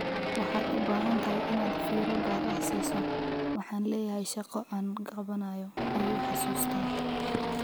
"Waxaad u baahan tahay inaad fiiro gaar ah siiso, waxaan leeyahay shaqo aan qabanayo," ayuu xusuustaa.